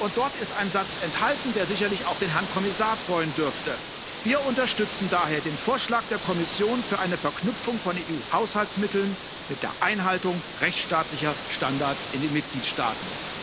Darin ist ein Satz enthalten, der sicherlich auch den Herrn Kommissar freuen dürfte Wir unterstützen daher den Vorschlag der Kommission für eine Verknüpfung von EU Haushaltsmitteln mit der Einhaltung rechtsstaatlicher Standards in den Mitgliedstaaten.